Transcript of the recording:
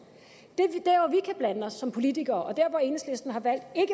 som politikere